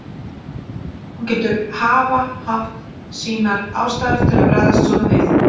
Hún getur hafa haft sínar ástæður til að bregðast svona við.